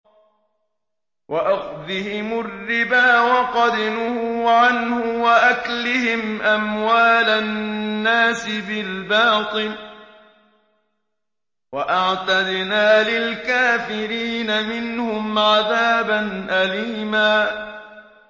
وَأَخْذِهِمُ الرِّبَا وَقَدْ نُهُوا عَنْهُ وَأَكْلِهِمْ أَمْوَالَ النَّاسِ بِالْبَاطِلِ ۚ وَأَعْتَدْنَا لِلْكَافِرِينَ مِنْهُمْ عَذَابًا أَلِيمًا